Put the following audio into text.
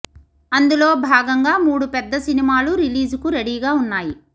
అందులో భాగంగా మూడు పెద్ద సినిమాలు రిలీజ్ కు రెడీ గా వున్నాయి